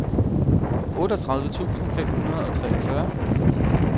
otteogtredive tusind fem hundrede og treogfyrre